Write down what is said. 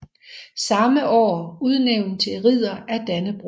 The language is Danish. Samme år udnævnt til ridder af Dannebrog